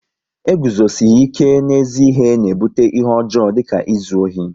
E guzosihi ike n'ezi ihe na ebute ihe ọjọọ dịka izu ohi